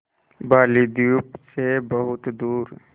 बालीद्वीप सें बहुत दूर